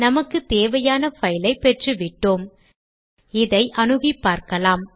நமக்குத் தேவையான பைல் ஐப் பெற்றுவிட்டோம் இதை அணுகிப்பார்க்கலாம்